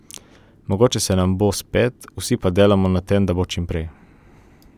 Mogoče se nam bo spet, vsi pa delamo, da se nam bo čim prej.